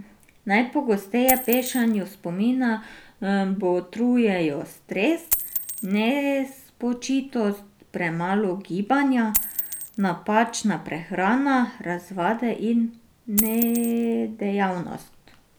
Najpogosteje pešanju spomina botrujejo stres, nespočitost, premalo gibanja, napačna prehrana, razvade in nedejavnost.